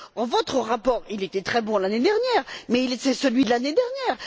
Or, votre rapport, il était très bon l'année dernière, mais c'est celui de l'année dernière!